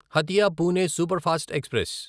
Hatia Pune superfast express